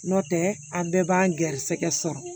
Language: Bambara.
Nɔntɛ a bɛɛ b'an ga garisɛgɛ sɔrɔ